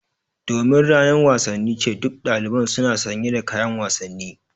Domin ranar wasanni ce, duk daliban suna sanye da kayan wasanni.